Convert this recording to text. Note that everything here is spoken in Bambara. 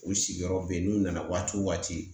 U sigiyɔrɔ be yen ,n'u nana waati wo waati.